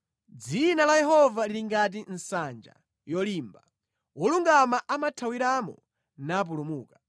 Dzina la Yehova lili ngati nsanja yolimba; wolungama amathawiramo napulumuka.